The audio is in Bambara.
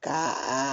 Ka a